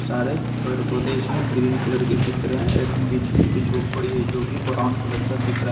सारे पेड़ पौधे इसमें ग्रीन कलर के दिख रहे हैं एक बीच में एक झोपड़ी है जो कि ब्राउन कलर का दिख रहा।